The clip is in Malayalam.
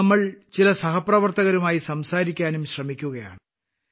ഇന്ന് നമ്മൾ ചില സഹപ്രവർത്തകരുമായി സംസാരിക്കാനും ശ്രമിക്കുകയാണ്